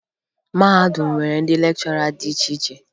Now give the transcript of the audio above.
Mahadum nwere ndị lekchọra dị iche iche